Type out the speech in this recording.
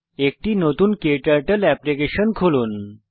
একটি নতুন ক্টার্টল অ্যাপ্লিকেশন খুলুন